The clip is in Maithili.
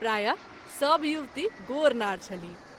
प्राय: सभ युवती गोर नार छलीह।